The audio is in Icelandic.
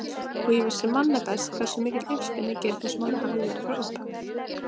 Og ég vissi manna best hversu mikill uppspuni Geirfinnsmálið hafði verið frá upphafi.